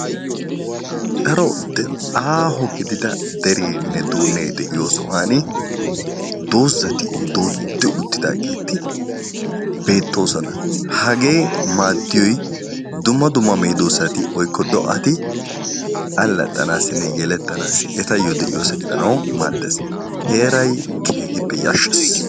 daaro aaho gididda dereenne duunnee de'iyoo sohuwaani doozzatti dooddi uttidaageti bettoosona. hagee maaddiyoy dumma dumma meedoosati woykko do"ati allaxanassinne yelettanaasi eetayoo de'iyoosa gidanawu maaddees. heeray keehippe yaashshees.